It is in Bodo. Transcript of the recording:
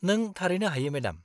-नों थारैनो हायो मेडाम।